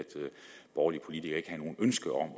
borgerlige politikere ikke havde noget ønske om at